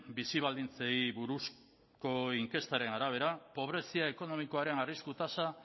bizi baldintzei buruzko inkestaren arabera pobrezia ekonomikoaren arrisku tasa